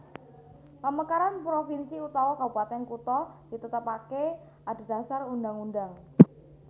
Pamekaran provinsi utawa Kabupatèn kutha ditetepaké adhedhasar Undhang undhang